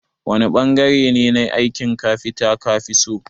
wani bangare ne na aikin kafita kafiso?